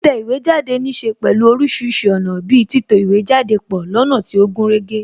Títẹ̀ ìwé jáde níse pẹ̀lú orísìírísìí ọ̀nà bi títò ìwé pọ lọ́nà tí ó gúnrégé